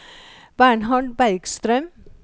Bernhard Bergstrøm